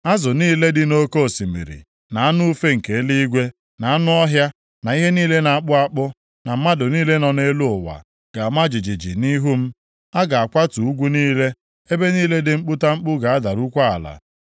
Azụ niile dị nʼoke osimiri, na anụ ufe nke eluigwe, na anụ ọhịa, na ihe niile na-akpụ akpụ, na mmadụ niile nọ nʼelu ụwa ga-ama jijiji nʼihu m. A ga-akwatu ugwu niile, ebe niile dị mkputamkpu ga-adarukwa ala.